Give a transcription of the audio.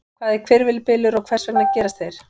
Hvað er hvirfilbylur og hvers vegna gerast þeir?